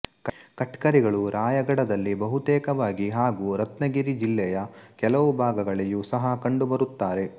ಕಟ್ಕರಿಗಳು ರಾಯಗಡದಲ್ಲಿ ಬಹುತೇಕವಾಗಿ ಹಾಗು ರತ್ನಗಿರಿ ಜಿಲ್ಲೆಯ ಕೆಲವು ಭಾಗಗಲ್ಲಿಯೂ ಸಹ ಕಂಡುಬರುತ್ತಾರೆ